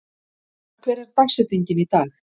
Ragnar, hver er dagsetningin í dag?